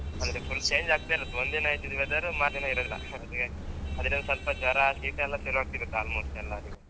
ಅಂದ್ರೆ full change ಆಗ್ತಾ ಇರುತ್ ಒಂದಿನ ಇದ್ದಿದ್ weather ಮಾರ್ನೆ ದಿನ ಇರುದಿಲ್ಲ ಅದುವೇ ಒಂದ್ ಸ್ವಲ್ಪ ಜ್ವರ ಶೀತಯೆಲ್ಲಾ ಶುರು ಆಗ್ತದೆ almost ಎಲ್ಲರಿಗೂ.